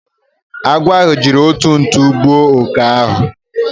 Agwo ahu jiri otu ntu gbuo oke ahu